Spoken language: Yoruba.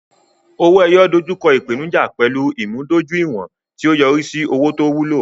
owo-eyo dojú kọ ìpèníjà pẹ̀lú ìmúdójúìwọ̀n, tí ó yọrí sí owó tó wúlò.